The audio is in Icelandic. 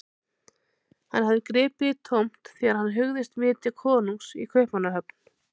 Hann hafði gripið í tómt þegar hann hugðist vitja konungs í Kaupmannahöfn.